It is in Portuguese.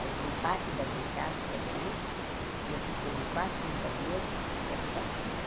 Aluguei parte da minha casa, que é grande, e eu fiquei num quarto, num banheiro, é só.